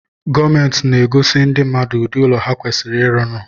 Gomenti na-agosi ndi mmadụ ụdị ụlọ ha kwasiri ịrụnụ